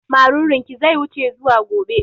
Marurun ki zai wuce zuwa gobe